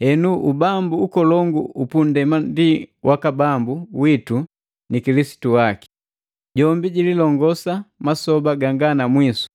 “Henu ubambu ukolongu upu nndema ndi waka Bambu witu ni Kilisitu waki. Jombi jiilongosa masoba ganga na mwisu!”